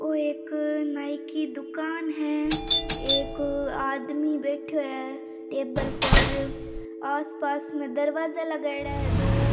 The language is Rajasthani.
ओ एक नाई की दुकान है एक आदमी बैठयो है टेबल पर आस पास में दरवाजा लगायोड़ा है दो।